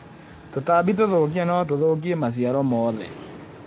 Tũtambi tũthũkia no tũthũkie maciaro mothe.